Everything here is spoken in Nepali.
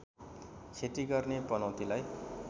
खेती गर्ने पनौतीलाई